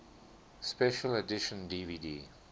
special edition dvd